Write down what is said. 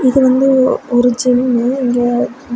இது வந்து ஒரு ஜிம்மு இங்க.